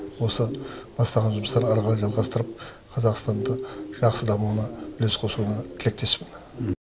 осы бастаған жұмыстарын ары қарай жалғастырып қазақстанды жақсы дамуына үлес қосуына тілектеспін